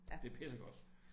Det pissegodt